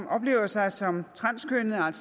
oplever sig som transkønnede